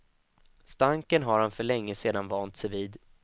Stanken har han för länge sedan vant sig vid.